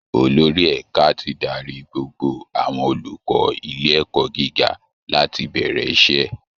Olórí ẹ̀ka ti darí gbogbo àwọn olùkọ́ ilé ẹ̀kọ́ gíga láti bẹ̀rẹ̀ iṣẹ́